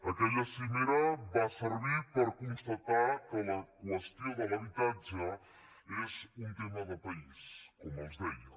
aquella cimera va servir per constatar que la qüestió de l’habitatge és un tema de país com els deia